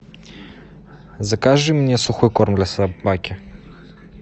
закажи мне сухой корм для собаки